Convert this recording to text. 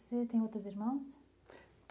Você tem outros irmãos?